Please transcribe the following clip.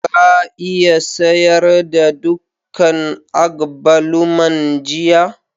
Ka iya sayar da dukan agbaluman jiya?